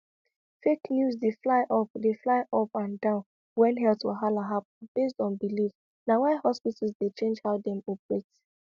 fake news dey fly up dey fly up and down when health wahala happen based on belief na why hospitals dey change how dem operate